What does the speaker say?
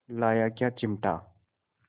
लाया क्या चिमटा